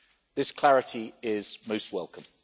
This clarity is most welcome.